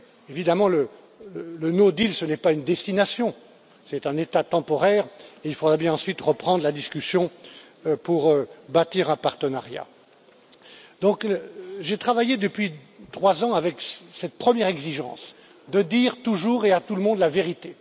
Évidemment le no deal n'est pas une destination, c'est un état temporaire et il faudra bien ensuite reprendre la discussion pour bâtir un partenariat. J'ai donc travaillé depuis trois ans avec cette première exigence dire, toujours et à tout le monde, la vérité.